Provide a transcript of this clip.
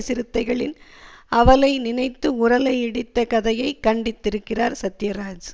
சிறுத்தைகளின் அவலை நினைத்து உரலை இடித்த கதையை கண்டித்திருக்கிறார் சத்யராஜ்